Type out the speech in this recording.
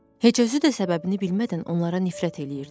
Heç özü də səbəbini bilmədən onlara nifrət eləyirdi.